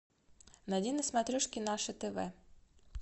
найди на смотрешке наше тв